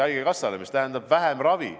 See tähendab vähem ravi.